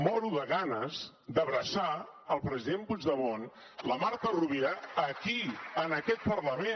moro de ganes d’abraçar el president puigdemont la marta rovira aquí en aquest parlament